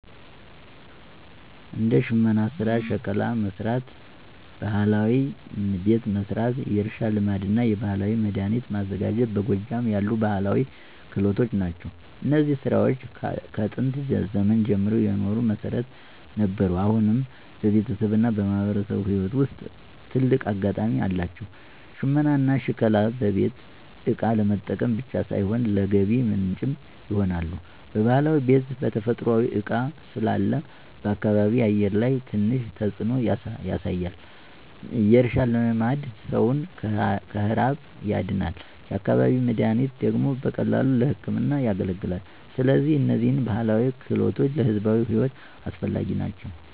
እንደ ሽመና ሥራ፣ ሸክላ መሥራት፣ ባህላዊ ቤት መሥራት፣ የእርሻ ልማድና የባህላዊ መድኃኒት ማዘጋጀት በጎጃም ያሉ ባህላዊ ክህሎት ናቸው። እነዚህ ሥራዎች ከጥንት ዘመን ጀምሮ የኑሮ መሠረት ነበሩ፣ አሁንም በቤተሰብና በማህበረሰብ ሕይወት ውስጥ ትልቅ አጋጣሚ አላቸው። ሽመናና ሸክላ በቤት እቃ ለመጠቀም ብቻ ሳይሆን ለገቢ ምንጭም ይሆናሉ። ባህላዊ ቤት በተፈጥሯዊ እቃ ስላለ በአካባቢ አየር ላይ ትንሽ ተጽዕኖ ያሳያል። የእርሻ ልማድ ሰውን ከረሃብ ያድናል፤ የአካባቢ መድኃኒት ደግሞ በቀላሉ ለሕክምና ያገለግላል። ስለዚህ እነዚህ ባህላዊ ክህሎቶች ለሕዝብ ሕይወት አስፈላጊ ናቸው።